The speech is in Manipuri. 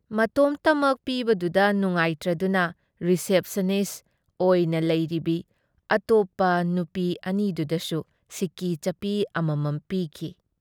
ꯃꯇꯣꯝꯇꯃꯛ ꯄꯤꯕꯗꯨꯗ ꯅꯨꯉꯥꯏꯇ꯭ꯔꯗꯨꯅ ꯔꯤꯁꯦꯞꯁꯅꯤꯁ ꯑꯣꯏꯅ ꯂꯩꯔꯤꯕꯤ ꯑꯇꯣꯞꯄ ꯅꯨꯄꯤ ꯑꯅꯤꯗꯨꯗꯁꯨ ꯁꯤꯀꯤ ꯆꯠꯄꯤ ꯑꯃꯃꯝ ꯄꯤꯈꯤ ꯫